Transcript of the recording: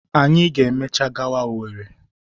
Anyi ga emechaa kwaga Owerri.